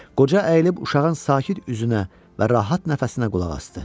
Qoca əyilib uşağın sakit üzünə və rahat nəfəsinə qulaq asdı.